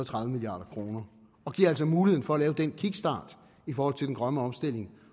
tredive milliard kroner og giver altså muligheden for at lave den kickstart i forhold til den grønne omstilling